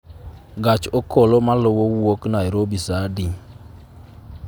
Gach okolo maluwo wuok nairobi saa adi